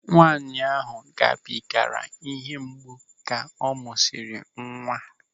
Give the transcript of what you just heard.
Nwaanyị ahụ gabigara ịhe mgbu ka ọ mụsịrị nwa.